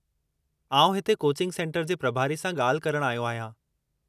आऊं हिते coaching centre जे प्रभारी सां ॻाल्हि करणु आयो आहियां।